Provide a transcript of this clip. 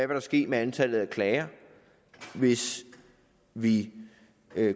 vil ske med antallet af klager hvis vi